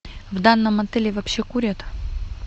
в данном отеле вообще курят